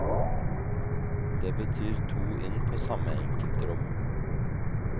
Det betyr to inn på samme enkeltrom.